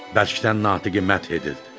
Bərkdən Natiqi mədh edirdi.